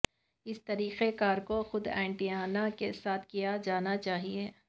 اسی طریقہ کار کو خود اینٹینا کے ساتھ کیا جانا چاہئے